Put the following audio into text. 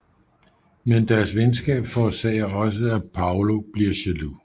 Men deres venskab forårsager også at Paulo bliver jaloux